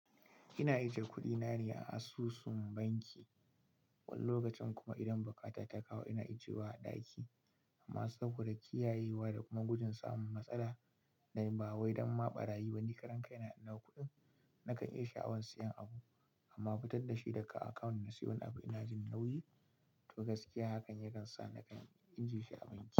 Ina ajiye kuɗina ne a asusun banki. Wani lokacin kuma idan bukata ta kawo ina ajiyewa a ɗaki. Amma saboda kiyayewa da kuma gujin samun matsala na yi ba wai don ma ɓarayi wani karan kai na na kuɗin nakan iya sha'awan siyan abu amma fitar da shi daga akawun na siyo abu ina jin nauyi. To gaskiya hakan yakan sa na kan ajiye shi a banki.